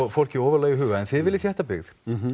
fólki ofarlega í huga en þið viljið þétta byggð